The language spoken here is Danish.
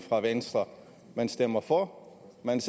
for